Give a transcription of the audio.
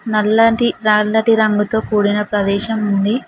నల్లటి రంగుతో కూడిన ప్రదేశం ఉంది.